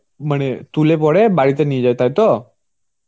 মানে তুলে পরে বাড়িতে নিয়ে যায়. তাই তো?